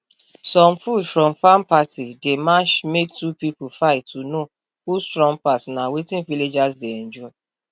some food from farm party dey match make two pipo fight to know who strong pass na wetin villagers dey enjoy